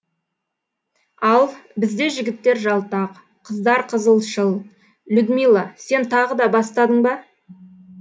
ал бізде жігіттер жалтақ қыздар қызылшыл людмила сен тағы да бастадың ба